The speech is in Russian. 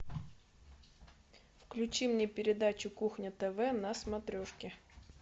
включи мне передачу кухня тв на смотрешке